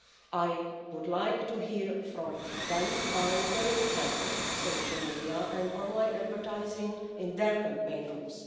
I would like to hear from them how they handle social media and online advertising in their campaign rules.